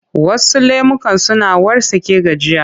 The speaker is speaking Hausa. Wasu lemukan suna wartsake gajiya.